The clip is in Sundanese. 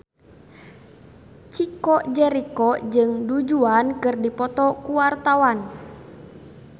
Chico Jericho jeung Du Juan keur dipoto ku wartawan